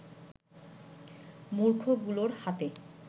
মূর্খগুলোর হাতে